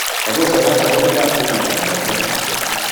Kobosok raa sheaisiekap quickmart anan kotesak